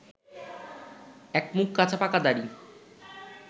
একমুখ কাঁচাপাকা দাড়ি